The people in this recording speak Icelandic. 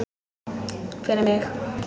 Fyrir mig.